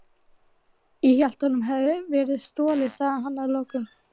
Ég hélt honum hefði verið stolið sagði hann að lokum.